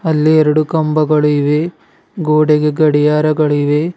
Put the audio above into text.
ಇಲ್ಲಿ ಎರಡು ಕಂಬಗಳಿವೆ ಗೋಡೆಗೆ ಗಡಿಯಾರಗಳಿವೆ.